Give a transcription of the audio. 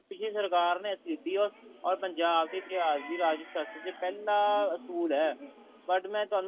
ਪਿਛਲੀ ਸਰਕਾਰ ਨੇ ਅੱਸੀ ਲੀਤੀ ਐ or ਪੰਜਾਬ ਦੀ ਇਤਿਹਾਸ ਦੀ ਰਾਜਨੀਤੀ ਸ਼ਾਸਤਰ ਚ ਪਹਿਲਾਂ ਅਸੂਲ ਹੈ but ਮੈਂ ਤੁਹਾਨੂੰ